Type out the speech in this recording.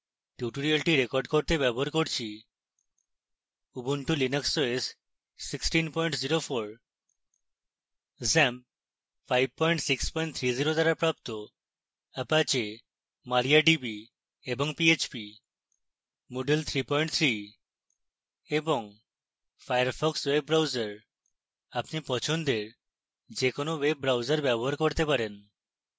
tutorial record করতে ব্যবহার করছি: